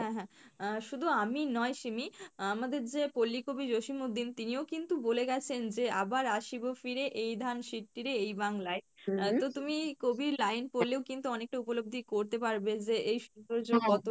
"হ্যাঁ হ্যাঁ আহ শুধু আমি নয় সিমি আমাদের যে তিনিও কিন্তু বলে গেছেন যে ""আবার আসিবো ফিরে এই ধান এই বাংলায়"" তুমি কবির line পড়লেও কিন্তু অনেকটা উপলব্ধি করতে পারবে যে এই সৌন্দর্য কতটা "